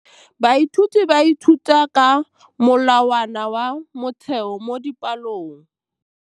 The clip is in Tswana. Baithuti ba ithuta ka molawana wa motheo mo dipalong.